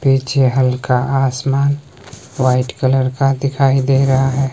पीछे हल्का आसमान व्हाइट कलर का दिखाई दे रहा है।